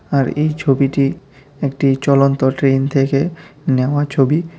আর এই ছবিটি একটি চলন্ত ট্রেন থেকে নেওয়া ছবি।